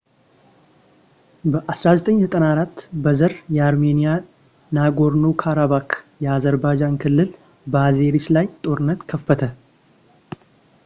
በ1994 በዘር የአርሜንያ ናጎርኖ-ካራባክ የአዘርባጃን ክልል በአዜሪስ ላይ ጦርነት ከፈተ